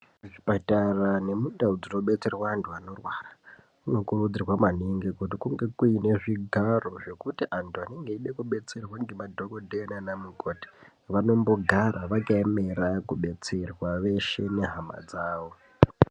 Muzvipatara nemundau dzinobetserwa antu anorwara. Munokurudzirwa maningi kuti kunge kuine zvigaro zvekuti antu anenge eide kubetserwa ngemadhogodheya nanamukoti. Vanombogara vakaemera kubetserea veshe nehama dzavo.